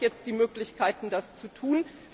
Er hat jetzt die Möglichkeiten, das zu tun.